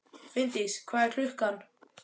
Finndís, hvað er klukkan?